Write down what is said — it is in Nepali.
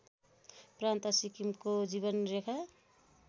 प्रान्त सिक्किमको जीवनरेखा